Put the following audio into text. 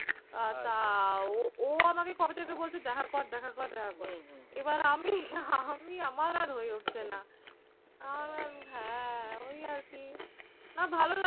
আর তা ও আমাকে কবে থেকে বলছে দেখা কর দেখা কর দেখা কর। এবার আমি আমি আমি আমার আর হয়ে উঠছে না। আর হ্যাঁ ওই আরকি। না ভালো